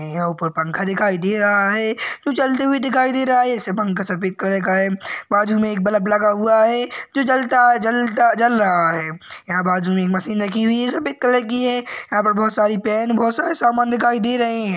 यहाँ ऊपर पंखा दिखाई दे रहा है जो चलते हुए दिखाई दे रहा है वेसे पंखा सफेद कलर का है बाजू मे एक बल्ब लगा हुआ है जो जलता-जलता जल-जल रहा है यहाँ बाजू मे एक मशीन रखी हुई है सफेद कलर की है यहाँ बहोत सारी पेन बहोत सारा समान दिखाई दे रहे हैं ।